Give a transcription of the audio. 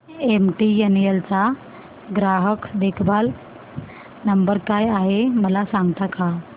MTNL चा ग्राहक देखभाल नंबर काय आहे मला सांगता का